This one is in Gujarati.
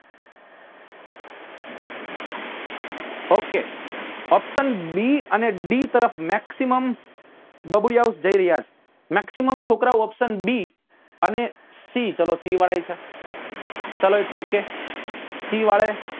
Okayoption b અને d તરફ maximum બબુડીયાસ જઇ રહ્યા છે maximum છોકરાઓ option b અને c ચલો c વાળા એ છે ચલો its ok વાલે